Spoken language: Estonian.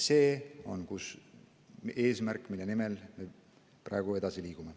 See on eesmärk, mille nimel me praegu edasi liigume.